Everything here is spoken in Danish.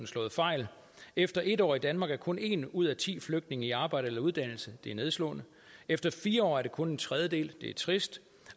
slået fejl efter en år i danmark er kun en ud af ti flygtninge i arbejde eller under uddannelse det er nedslående efter fire år er det kun en tredjedel det er trist